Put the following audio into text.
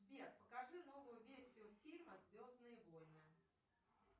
сбер покажи новую версию фильма звездные войны